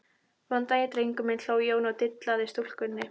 Góðan daginn drengur minn, hló Jón og dillaði stúlkunni.